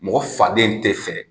Mɔgɔ faden te fɛ